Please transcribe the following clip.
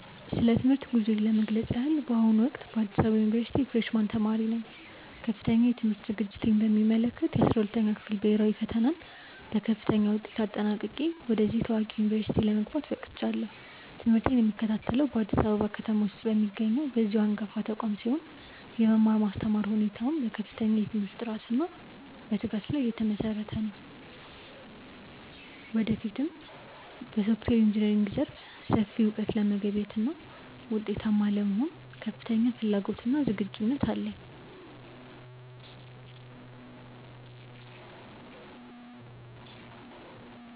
ስለ ትምህርት ጉዞዬ ለመግለጽ ያህል፣ በአሁኑ ወቅት በአዲስ አበባ ዩኒቨርሲቲ የፍሬሽ ማን ተማሪ ነኝ። ከፍተኛ የትምህርት ዝግጅቴን በሚመለከት፣ የ12ኛ ክፍል ብሄራዊ ፈተናን በከፍተኛ ውጤት አጠናቅቄ ወደዚህ ታዋቂ ዩኒቨርሲቲ ለመግባት በቅቻለሁ። ትምህርቴን የምከታተለው በአዲስ አበባ ከተማ ውስጥ በሚገኘው በዚሁ አንጋፋ ተቋም ሲሆን፣ የመማር ማስተማር ሁኔታውም በከፍተኛ የትምህርት ጥራትና በትጋት ላይ የተመሰረተ ነው። ወደፊትም በሶፍትዌር ኢንጂነሪንግ ዘርፍ ሰፊ እውቀት ለመገብየትና ውጤታማ ለመሆን ከፍተኛ ፍላጎትና ዝግጁነት አለኝ።